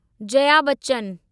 Jaya Bachchan